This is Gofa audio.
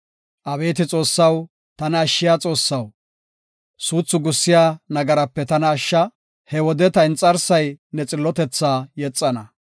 Abeeti Xoossaw, tana ashshiya Xoossaw, suuthu gussiya nagarape tana ashsha; he wode ta inxarsay ne xillotetha yexana.